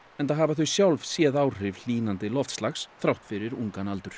enda hafa þau sjálf séð áhrif hlýnandi loftslags þrátt fyrir ungan aldur